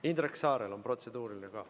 Ka Indrek Saarel on protseduuriline küsimus.